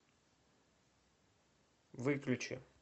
выключи